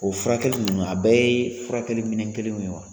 O furakɛli ninnu, a bɛɛ ye furakɛli minɛn kelenw ye wa?